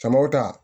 Jamaw ta